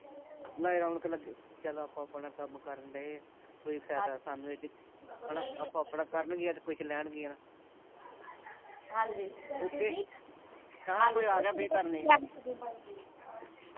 ਨਹੀਂ ਰੌਣਕ ਲੱਗੀ ਚਲੋ ਆਪੋ ਆਪਣਾ ਕੰਮ ਕਰਨ ਡਏ ਆ ਕੋਈ ਫਾਇਦਾ ਸਾਨੂੰ ਇਹ ਚ ਆਪੋ ਆਪਣਾ ਕਰਨ ਗੀਆਂ ਤੇ ਕੁਛ ਲੈਣ ਗੀਆ ਹਾਂਜੀ ਓਕੇ ਆ ਕੋਈ ਆ ਗਿਆ ਫੇਰ ਕਰਨੀ ਆ